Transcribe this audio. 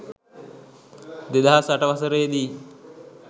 දෙදහස් අට වසරේ දී